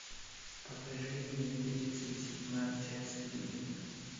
покажи мне тридцать седьмая часть клиника